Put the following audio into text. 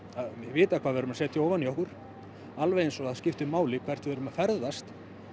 að vita hvað við erum að setja ofan í okkur alveg eins og það skiptir máli hvert við erum að ferðast